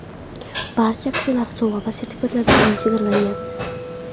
Barcha aksiyalardagi sovg‘a va sertifikatlar soni chegaralangan.